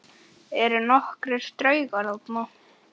Eru nokkrir draugar þarna?